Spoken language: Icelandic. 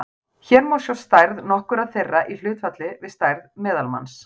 hér má sjá stærð nokkurra þeirra í hlutfalli við stærð meðalmanns